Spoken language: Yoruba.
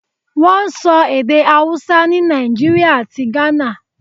Wọ́n ń sọ èdè Hausa ni Nàìjíríà àti Ghana.